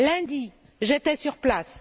Lundi, j'étais sur place.